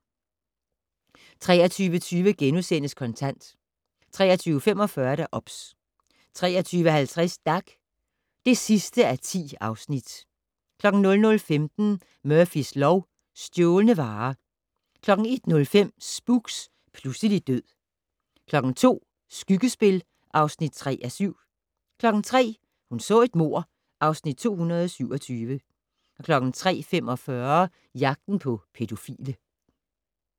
23:20: Kontant * 23:45: OBS 23:50: Dag (10:10) 00:15: Murphys lov: Stjålne varer 01:05: Spooks: Pludselig død 02:00: Skyggespil (3:7) 03:00: Hun så et mord (Afs. 227) 03:45: Jagten på pædofile